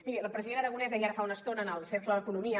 miri el president aragonès deia ara fa una estona en el cercle d’economia